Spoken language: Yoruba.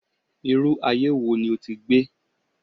Irú aye wo ni o ti gbé?